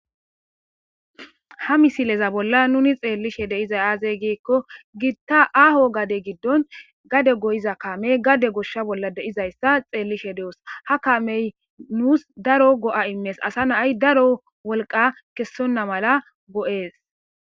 ha misileza bolla nuni xeellishe deiza aazey giikko giitta aaho gade giddon gade goyiza kamey gade goshsha bolla deizayssa xeellishe de7os ha kamey nuus daro go7a immees asa naay daro wolqa kessonna mala go7ees